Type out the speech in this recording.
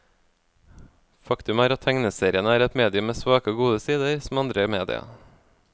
Faktum er at tegneseriene er et medium med svake og gode sider, som andre media.